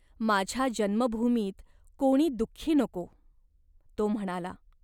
"माझ्या जन्मभूमीत कोणी दुःखी नको !" तो म्हणाला.